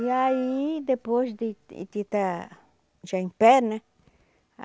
E aí, depois de de estar já em pé, né?